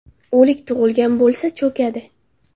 O‘lik tug‘ilgan bo‘lsa – cho‘kadi.